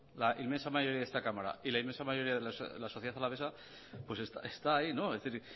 la inmensa mayoría de esta cámara y la inmensa mayoría de la sociedad alavesa está ahí es decir